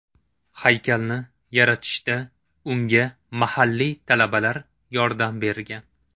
Haykalni yaratishda unga mahalliy talabalar yordam bergan.